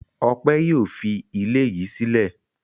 Ọpẹ́ yóò fi ilé yìí sílẹ̀.